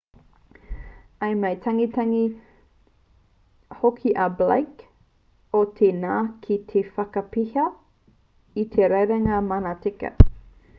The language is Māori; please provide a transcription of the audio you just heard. i mau tangetange hoki a blake o te ngana ki te whakatapeha i te rerenga manatika